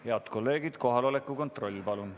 Head kolleegid, kohaloleku kontroll!